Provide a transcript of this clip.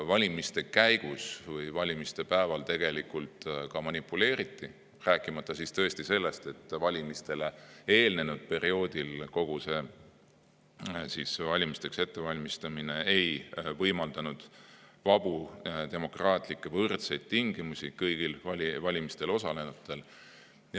Valimiste käigus või valimiste päeval tegelikult ka manipuleeriti, rääkimata sellest, et valimistele eelnenud perioodil kogu see valimisteks ettevalmistamine tõesti ei taganud vabu, demokraatlikke, võrdseid tingimusi kõigile valimistel osalenutele.